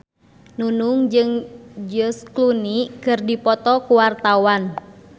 Nunung jeung George Clooney keur dipoto ku wartawan